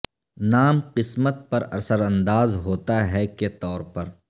نام قسمت پر اثر انداز ہوتا ہے کے طور پر